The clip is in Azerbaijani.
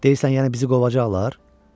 Deyirsən, yəni bizi qovacaqlar?